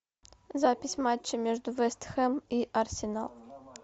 запись матча между вест хэм и арсенал